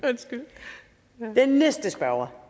den næste spørger